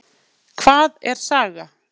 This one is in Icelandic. Hvað er saga?